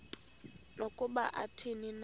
nokuba athini na